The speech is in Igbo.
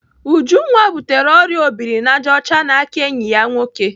Ujunwa butere ọrịa obirinajọcha n'aka enyi ya nwoke.